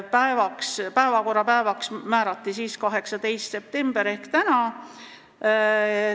Selleks päevaks määrati 18. september ehk täna.